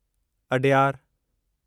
Adyar